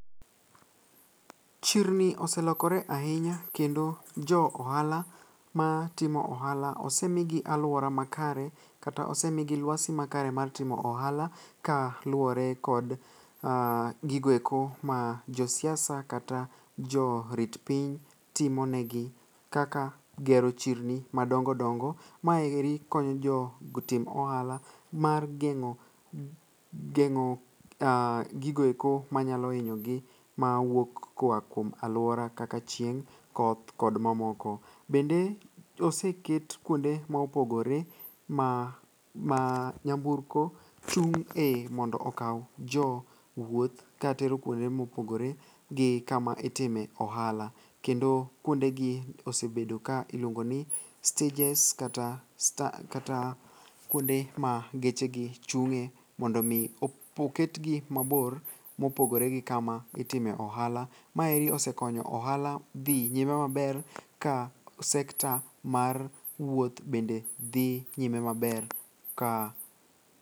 Chirni oselokore ahinya kendo jo ohala matimo ohala osemigi alwora makare kata osemigi lwasi makare mar timo ohala kaluwore kod gigoeko ma josiasa kata jorit piny timonegi kaka gero chirni madongodongo. Maeri konyo jotim ohala mar geng'o gigoeko manyalo hinyogi mawuok koa kuom alwora kaka chieng', koth kod mamoko. Bende oseket kuonde mopogore ma nyamburko chung'e mondo okaw jowuoth katero kuonde ma opogore gi kama itime ohala, kendo kuondegi osebedo ka iluongo ni stejes kata kuonde ma gechegi chung'e mondo omi oketgi mabor mopogore gi kama itime ohala. Maeri osekonyo ohala dhi nyime maber ka sekta mar wuoth bende dhi nyime maber ka